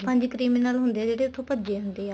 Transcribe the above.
ਪੰਜ CRIMINAL ਹੁੰਦੇ ਆ ਜਿਹੜੇ ਉੱਥੋ ਭੱਜ਼ੇ ਹੁੰਦੇ ਆ